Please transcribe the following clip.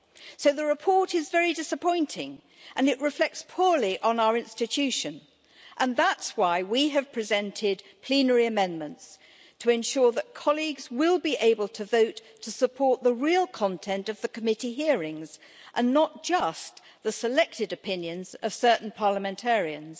So the report is very disappointing and it reflects poorly on our institution, and that's why we have presented plenary amendments to ensure that colleagues will be able to vote to support the real content of the committee hearings and not just the selected opinions of certain parliamentarians.